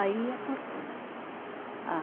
Aí ia cortando a